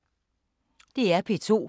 DR P2